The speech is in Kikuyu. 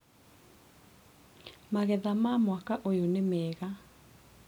Magetha ma mwaka ũyũ nĩ mega.